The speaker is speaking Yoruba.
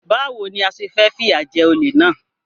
Báwo ni a ṣe máa fìyà jẹ olè náà?